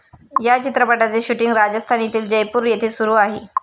या चित्रपटाचे शूटींग राजस्थान येथील जयपूर येथे सुरू आहे.